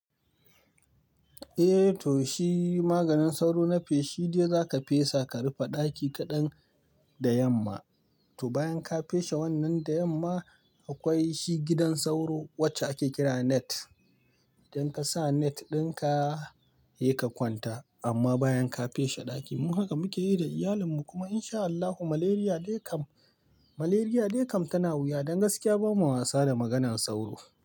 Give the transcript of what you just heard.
Eh to shi maganin sauro na feshi dai za ka fesa ka rufe ɗaki kaɗan da yamma. To bayan ka feshe wannan da yamma akwai shi gidan sauro wacce ake kira net. Don ka sa net ɗin ka, yai ka kwanta amma bayan ka feshe ɗaki. Mu haka muke yi da iyalin mu kuma in sha Allahu malaria dai kam, malaria dai kam tana wuya. Don gaskiya bamu wasa da maganan sauro.